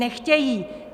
Nechtějí!